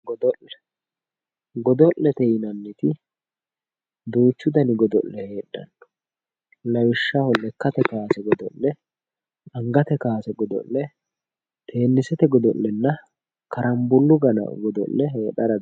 godolle godollete yinanniti duuchu dani godolle heexxanno lawishshaho lekkate kaase godo'le angate kaase godo'le teenisete godo'lenna garanbulu godole heexxara dandiitanno